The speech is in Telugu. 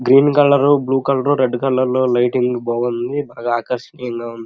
Green colour blue colour red colour లో లైటింగ్ బాగుంది చాలా ఆకర్షణయంగా ఉంది.